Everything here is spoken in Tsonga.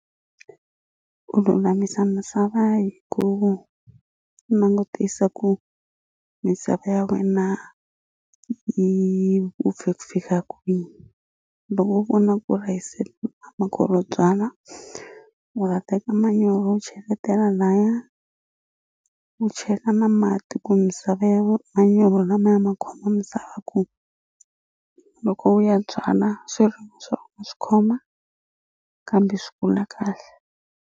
U lulamisa misava hi ku langutisa ku misava ya wena yi upfe ku fika kwihi loko u vona ku ri a yi se upfa u nga teka manyoro u cheletela laya u chela na mati ku misava ya manyorho lamaya ma khoma misava ku loko u ya byala swirimi swa wena swi khoma kambe swi kula kahle.